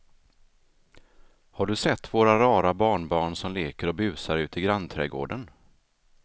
Har du sett våra rara barnbarn som leker och busar ute i grannträdgården!